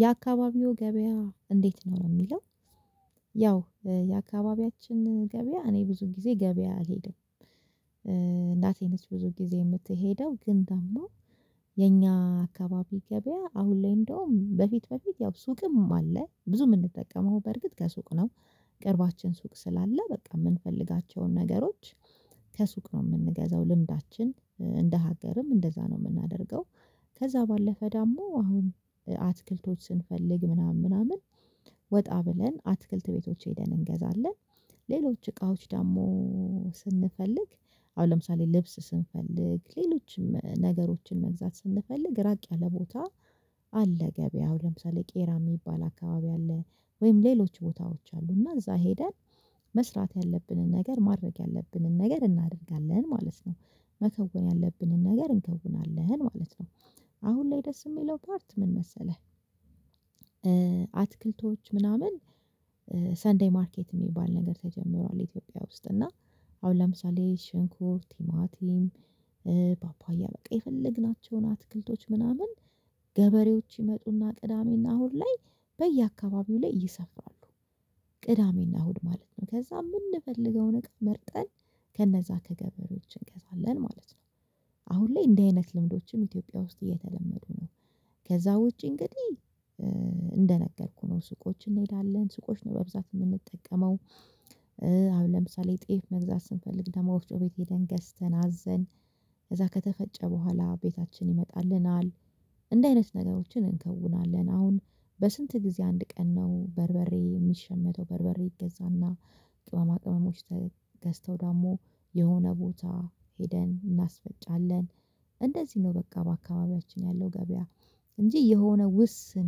የአካባቢው ገበያ እንዴት ነው ሚለው? ያው የአካባቢያችን ገበያ እኔ ብዙ ጊዜ ገበያ አልሄደም። እናቴ ነች ብዙ ጊዜ የምትሄደው ግን ደግሞ የኛ አካባቢ ገበያ አሁን ላይ እንደውም በፊት በፊት ያው ሱቅም አለ ብዙ ምንጠቀመው በርግጥ ከሱቅ ነው። ቅርባችን ሱቅ ስላለ በቃ የምንፈልጋቸውን ነገሮች። ከሱቅ ነው ምንገዛው ልምዳችን እንደ ሀገርም እንደዛ ነው ምናደርገው። ከዛ ባለፈ ዳሞ አሁን አትክልቶች ስንፈልግ ምናምን ምናምን ወጣ ብለን አትክልት ቤቶች ሄደን እንገዛለን። ሌሎች እቃዎች ደግሞ ስንፈልግ አሁን ለምሳሌ ልብስ ስንፈልግ ሌሎችም ነገሮችን መግዛት ስንፈልግ ራቅ ያለ ቦታ። አለ ገበያው ለምሳሌ ቄራ ሚባል አካባቢ አለ። ወይም ሌሎች ቦታዎች አሉ እና እዛ ሄደን መስራት ያለብንን ነገር ማድረግ ያለብንን ነገር እናደርጋለን ማለት ነው። መከወን ያለብንን ነገር እንከውናለን ማለት ነው። አሁን ላይ ደስ የሚለው ፓርት ምን መሰለህ? አትክልቶች ምናምን ሰንዴይ ማርኬት የሚባል ነገር ተጀምሯል ኢትዮጵያ ውስጥ እና አሁን ለምሳሌ ሽንኩር ቲማቲም ፓፓያ በቃ የፈለግናቸውን አትክልቶች ምናምን ገበሬዎች ይመጡና ቅዳሜና እሁድ ላይ በየአካባቢው ላይ ይሰፍራሉ። ቅዳሜና እሁድ ማለት ነው ከዛ የምንፈልገውን ነገር መርጠን ከነዛ ከገበሬዎች እንገዛለን ማለት ነው። አሁን ላይ እንዲህ አይነት ልምዶችም ኢትዮጵያ ውስጥ እየተለመዱ ነው። ከዛ ውጪ እንግዲህ እንደነገርኩህ ነው ሱቆችን እንሄዳለን ሱቆች ነው በብዛት የምንጠቀመው። አሁን ለምሳሌ ጤፍ መግዛት ስንፈልግ ደግሞ ወፍጮ ቤት ሄደን ገዝተን አዘን ከዛ ከተፈጨ በኋላ ቤታችን ይመጣልናል። እንደህ አይነት ነገሮችን እንከውናለን አሁን በስንት ጊዜ አንድ ቀን ነው በርበሬ የሚሸመተው በርበሬ ይገዛና ቅመማ ቅመሞዎች ተገዝተው ደግሞ የሆነ ቦታ ሄደን እናስፈጫለን። እንደዚህ ነው በቃ በአካባቢያችን ያለው ገበያ። እንጂ የሆነ ውስን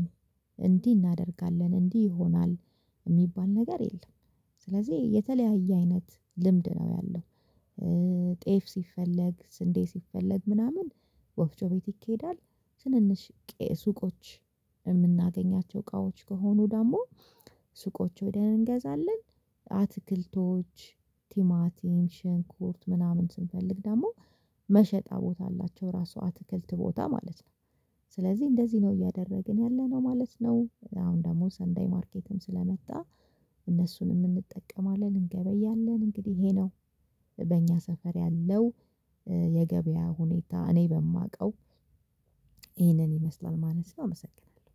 እንዲህ እናደርጋለን እንዲህ ይሆናል ሚባል ነገር የለም። ስለዚህ የተለያየ አይነት ልምድ ነው ያለው። ጤፍ ሲፈለግ ስንዴ ሲፈለግ ምናምን ወፍጮ ቤት ይኬዳል። ትንንሽ ሱቆች እምናገኛቸው እቃወች ከሆኑ ደሞ ሱቆች ወደ እንገዛለን። አትክልቶች ቲማቲን ሽንኩርት ምናምን ስንፈልግ ደግሞ መሸጫ ቦታ አላቸው ራሱ አትክልት ቦታ ማለት ነው። ስለዚህ እንደዚህ ነው እያደረግን ያለነው ማለት ነው። አሁን ደግሞ ሰንዳይ ማርኬትም ስለመጣ እነሱንም እንጠቀማለን እንገበያለን እንግዲህ ይሄ ነው። በእኛ ሰፈር ያለው። የገበያ ሁኔታ እኔ በማውቀው ይሄንን ይመስላል ማለት ነው አመሰግናለሁ።